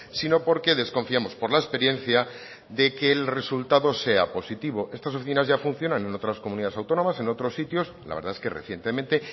sino porque desconfiamos por la experiencia de que el resultado sea positivo estas oficinas ya funcionan en otras comunidades autónomas en otros sitios la verdad es que recientemente